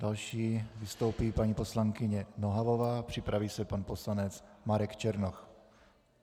Další vystoupí paní poslankyně Nohavová, připraví se pan poslanec Marek Černoch.